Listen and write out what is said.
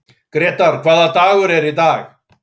Grétar, hvaða dagur er í dag?